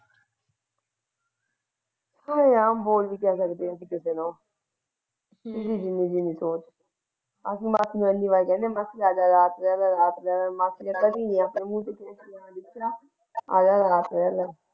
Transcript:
ਉਹ ਆਮ ਹੀ ਬੋਲਦੀ ਹੈ ਕਹਿੰਦੀ ਹੈ ਮਾਸੀ ਰਾਤ ਰਹਿ ਲੈ ਲੈ ਆਜਾ ਰਾਤ ਰਹਿ ਲੈ। ਮਾਸੀ ਕਦੇ ਵੀ ਨਹੀਂ ਰਹਿਣਾ।